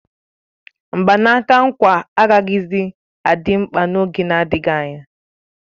Mgbanaka nkwa agaghịzi adị mkpa n'oge na-adịghị anya